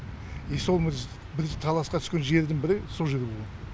и сол біз таласқа түскен жердің бірі сол жер болған